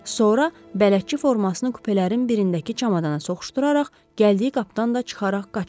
Sonra bələdçi formasını kupelərin birindəki çamadana soxuşduraraq gəldiyi qapıdan da çıxaraq qaçıb.